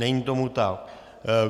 Není tomu tak.